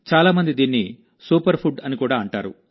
చాలా మంది దీన్ని సూపర్ ఫుడ్ అని కూడా అంటారు